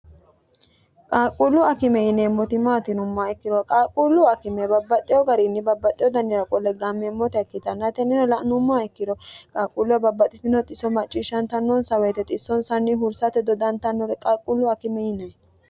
qaaqquullu akime yineemmotimaatinummaa ikkiro qaalqquullu akime babbaxxeho gariinni babbaxxeho dannira qolleggammeemmota ikkitanna yitennino la'nummaa ikkiro qaaqquulluo babbaxxitino xiso macciishshantannonsa woyite xissonsanni hursate dodantannore qaqquullu akime yine